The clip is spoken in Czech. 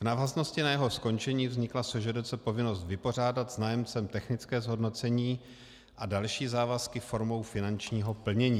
V návaznosti na jeho skončení vznikla SŽDC povinnost vypořádat s nájemcem technické zhodnocení a další závazky formou finančního plnění.